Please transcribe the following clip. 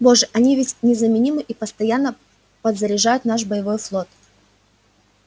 боже они ведь незаменимы и постоянно подзаряжают наш боевой флот